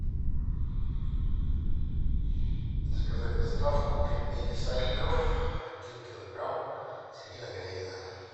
заказать доставку пельмени сальников один килограмм свинина говядина